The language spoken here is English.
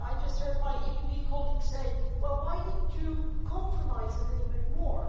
I just heard my PPE colleagues say well, why didn't you compromise a little bit more?